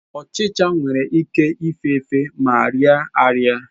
Uchicha nwere ike ịfefe ma riaaraị.